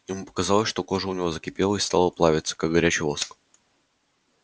ему показалось что кожа у него закипела и стала плавиться как горячий воск